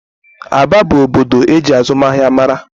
Aba bụ obodo eji azụmahịa mara